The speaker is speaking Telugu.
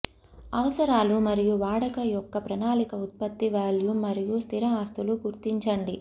అవసరాలు మరియు వాడక యొక్క ప్రణాళిక ఉత్పత్తి వాల్యూమ్ మరియు స్థిర ఆస్తులు గుర్తించండి